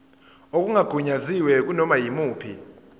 okungagunyaziwe kunoma yimuphi